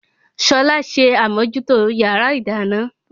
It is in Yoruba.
Ṣọlá ṣe àmòjútó yàrá ìdáná